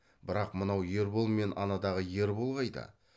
бірақ мынау ербол мен анадағы ербол қайда